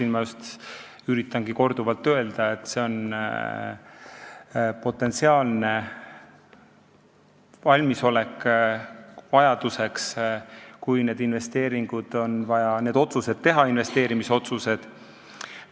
Ma just olengi üritanud korduvalt öelda, et see on potentsiaalne valmisolek selleks, kui tekib vajadus need investeerimisotsused teha.